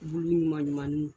Bu ɲuman ɲumani